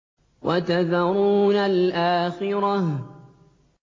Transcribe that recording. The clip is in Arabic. وَتَذَرُونَ الْآخِرَةَ